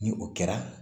Ni o kɛra